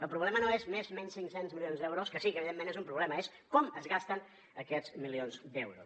el problema no és més menys cinc cents milions d’euros que sí que evidentment és un problema és com es gasten aquests milions d’euros